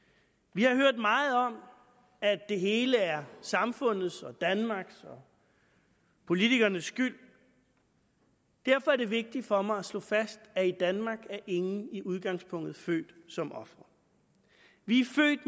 vi har hørt meget om at det hele er samfundets og danmarks og politikernes skyld og derfor er det vigtigt for mig at slå fast at i danmark er ingen i udgangspunktet født som ofre vi